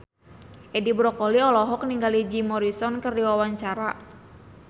Edi Brokoli olohok ningali Jim Morrison keur diwawancara